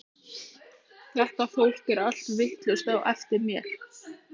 Þetta fólk er allt vitlaust á eftir mér.